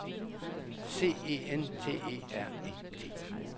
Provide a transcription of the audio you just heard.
C E N T E R E T